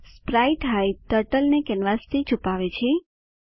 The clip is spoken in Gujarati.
સ્પ્રાઇટહાઇડ ટર્ટલ ને કેનવાસથી છુપાવે છે